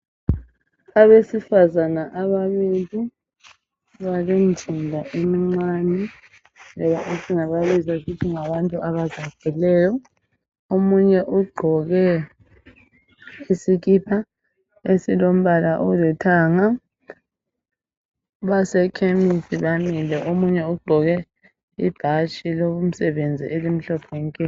Abesifazana ababili balemizimba emincane, esingababiza sithi ngabantu abazacileyo. Omunye ugqoke isikipa esilombala olithanga, basekhemisi bamile omunye ugqoke ibhatshi lomsebenzi elimhlophe nke.